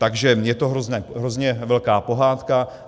Takže je to hrozně velká pohádka.